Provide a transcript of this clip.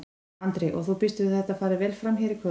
Andri: Og þú býst við að þetta fari vel fram hérna í kvöld?